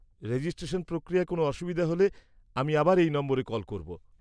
-Registration প্রক্রিয়ায় কোনো অসুবিধা হলে আমি আবার এই নম্বরে কল করব।